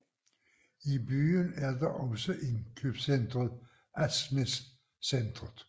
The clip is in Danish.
I byen er der også indkøbscentret Asnæs Centret